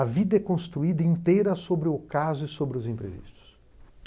A vida é construída inteira sobre o caso e sobre os imprevistos.